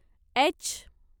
H